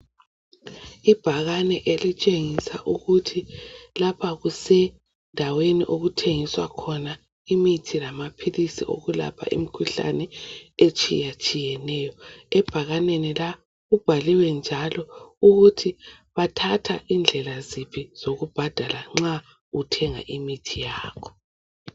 Ibhakane elitshengisa ukuthi lapha kusendaweni okuthengiswa khona imithi lamaphilisi okulapha imikhuhlane etshiyatshiyeneyo ebhakaneni la kubhaliwe njalo ukuthi bathatha indlela ziphi zokubhadala nxa uthenga imithi yakho.